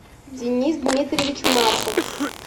денис дмитриевич марков